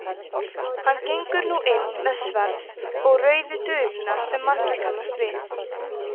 hann gengur nú inn með sverð og rauðu duluna sem margir kannast við